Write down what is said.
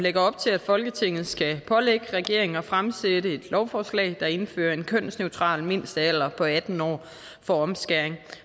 lægger op til at folketinget skal pålægge regeringen at fremsætte et lovforslag der indfører en kønsneutral mindstealder på atten år for omskæring